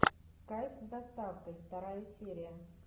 кайф с доставкой вторая серия